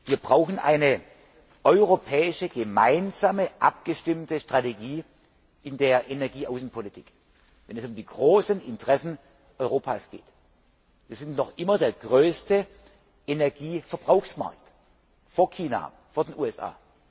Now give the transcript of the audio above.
Wir brauchen eine gemeinsam abgestimmte europäische Strategie in der Energieaußenpolitik, wenn es um die großen Interessen Europas geht. Wir sind noch immer der größte Energieverbrauchsmarkt, vor China, vor den USA.